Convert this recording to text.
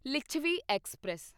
Lichhavi express